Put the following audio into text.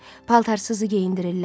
paltarsızı geyindirirlər.